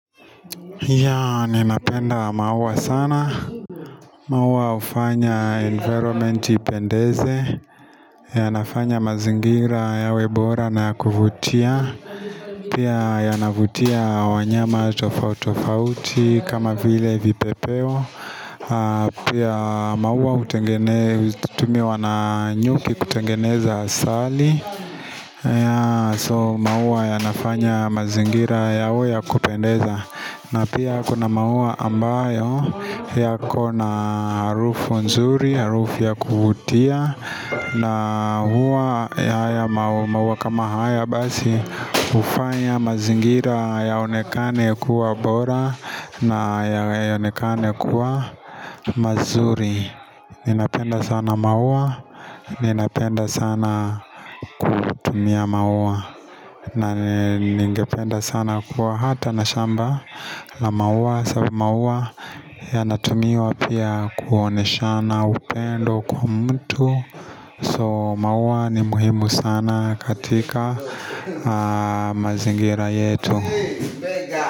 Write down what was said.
Yeah, ninapenda maua sana. Maua hufanya environment ipendeze yanafanya mazingira yawe bora na kuvutia Pia yanavutia wanyama tofauti tofauti kama vile vipepeo Pia maua hutengene, tumiwa na nyuki kutengeneza asali yeah, so maua yanafanya mazingira yawe ya kupendeza na pia kuna maua ambayo yakona harufu nzuri, harufu ya kuvutia na huwa haya maua kama haya basi hufanya mazingira yaonekane kuwa bora na yaonekane kuwa mazuri Ninapenda sana maua, ninapenda sana kutumia maua na ningependa sana kuwa hata na shamba la maua sorry maua yanatumiwa pia kuoneshana upendo kwa mtu So maua ni muhimu sana katika mazingira yetu.